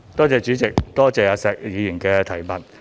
主席，多謝石議員的補充質詢。